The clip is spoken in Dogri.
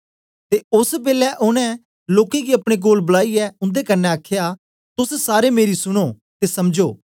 ते ओस बेलै ओनें लोकें गी अपने कोल बलाईयै उंदे कन्ने आखया तोस सारे मेरी सुनो ते समझो